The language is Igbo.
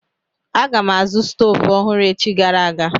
Aga m azụ stoovu ọhụrụ echi gara aga.